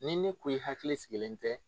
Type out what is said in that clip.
Ni ne ko i hakili sigilen tɛ